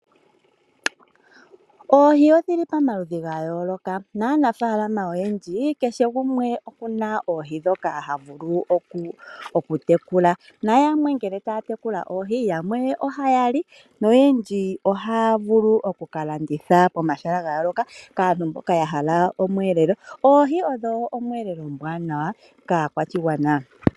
Oohi odhili pamaludhi gayooloka, naanafalama oyendji kehe gumwe okuna oohi dhoka hayavulu okutekula. Nayamwe ngele tayatekula oohi, yamwe ohayali, noyendji ohaavulu okukalanditha komashala gayooloka kaantu mboka yahala omweelelo. Oohi odho omweelelo omwaanawa kaakwashigwana.